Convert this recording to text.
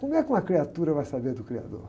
Como é que uma criatura vai saber do criador?